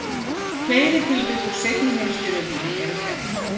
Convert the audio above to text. Fleiri tilvik úr seinni heimsstyrjöldinni eru þekkt.